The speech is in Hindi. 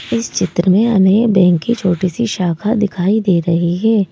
इस चित्र में हमें बैंक की छोटी सी शाखा दिखाई दे रही है।